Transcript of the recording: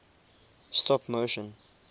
stop motion